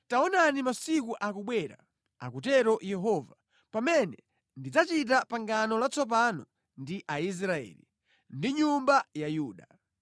“Masiku akubwera,” akutero Yehova, “pamene ndidzachita pangano latsopano ndi Aisraeli ndiponso nyumba ya Yuda.